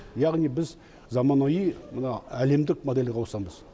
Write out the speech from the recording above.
яғни біз заманауи мына әлемдік модельге ауысамыз